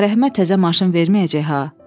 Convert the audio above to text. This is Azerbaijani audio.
Ağa Rəhimə təzə maşın verməyəcək ha.